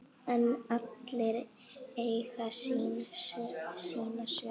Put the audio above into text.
En allir eiga sína sögu.